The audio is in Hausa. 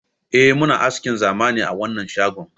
Eh muna askin zamani a wanan shagon